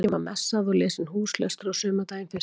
Lengi var messað og lesinn húslestur á sumardaginn fyrsta.